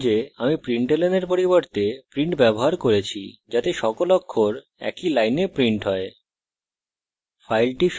লক্ষ্য করুন যে আমি println এর পরিবর্তে print ব্যবহার করছি যাতে সকল অক্ষর একই line print হয়